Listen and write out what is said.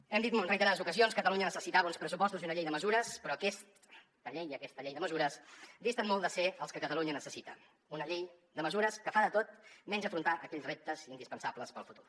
hem dit en reiterades ocasions que catalunya necessitava uns pressupostos i una llei de mesures però aquesta llei i aquesta llei de mesures disten molt de ser el que catalunya necessita una llei de mesures que fa de tot menys afrontar aquells reptes indispensables per al futur